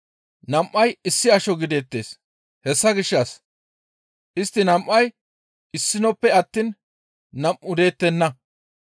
Nam7ay issi asho gideettes; hessa gishshas istti nam7ay issinoppe attiin nam7u deettenna.